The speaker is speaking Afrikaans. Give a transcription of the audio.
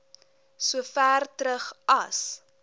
sover terug as